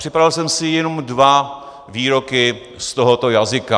Připravil jsem si jenom dva výroky z tohoto jazyka.